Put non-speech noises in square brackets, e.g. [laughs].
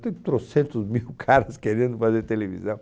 Tem troocentos mil caras [laughs] querendo fazer televisão.